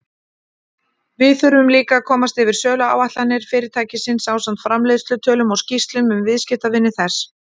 Við þurfum líka að komast yfir söluáætlanir fyrirtækisins ásamt framleiðslutölum og skýrslum um viðskiptavini þess.